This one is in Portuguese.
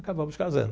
Acabamos casando.